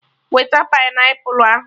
Weta painiapụlụ ahụ!